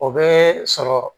O bɛ sɔrɔ